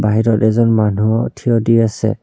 বাহিৰত এজন মানুহও থিয়দি আছে।